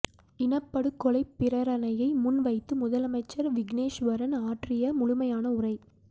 இனப்படுகொலை பிரேரணையை முன் வைத்து முதலமைச்சர் விக்கினேஸ்வரன் ஆற்றிய முழுமையான உரை